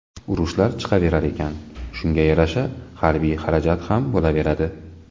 Urushlar chiqaverar ekan, shunga yarasha harbiy xarajat ham bo‘laveradi.